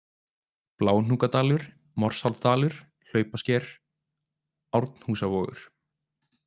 Bláhnúkadalur, Morsárdalur, Hlaupasker, Árnhúsavogur